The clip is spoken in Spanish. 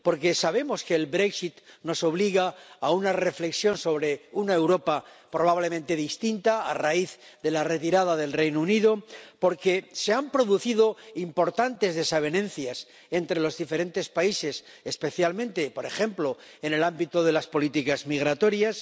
porque sabemos que el Brexit nos obliga a una reflexión sobre una Europa probablemente distinta a raíz de la retirada del Reino Unido porque se han producido importantes desavenencias entre los diferentes países, especialmente, por ejemplo, en el ámbito de las políticas migratorias